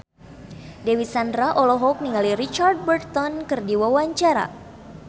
Dewi Sandra olohok ningali Richard Burton keur diwawancara